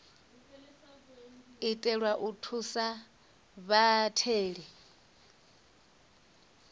itelwa u thusa vhatheli u